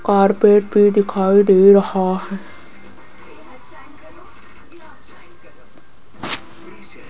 और पेड़ भी दिखाई दे रहा है।